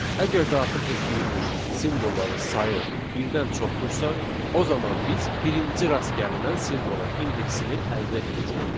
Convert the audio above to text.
Əgər daxil etdiyimiz simvolların sayı birdən çoxdursa, o zaman biz birinci rast gəlinən simvolun indeksini əldə edəcəyik.